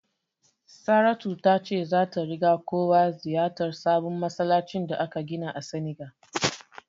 Saratu ta ce zata riga kowa ziyartar sabon masallacin da aka gina a Senegal.